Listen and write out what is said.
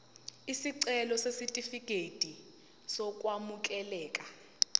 isicelo sesitifikedi sokwamukeleka